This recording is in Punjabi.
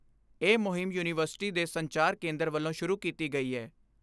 ਇਹ ਮੁਹਿੰਮ ਯੂਨੀਵਰਸਿਟੀ ਦੇ ਸੰਚਾਰ ਕੇਂਦਰ ਵੱਲੋਂ ਸ਼ੁਰੂ ਕੀਤੀ ਗਈ ਏ।